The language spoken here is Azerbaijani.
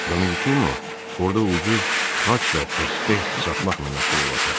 Dominikino orada ucuz xaç və təsbeh satmaqla məşğul olacaq.